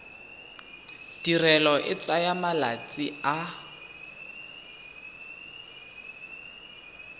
tirelo e tsaya malatsi a